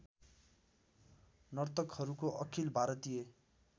नर्तकहरूको अखिल भारतीय